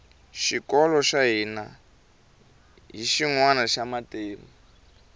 xikolo xa hina hi xinwana xa matimu